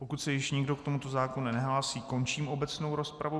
Pokud se již nikdo k tomuto zákonu nehlásí, končím obecnou rozpravu.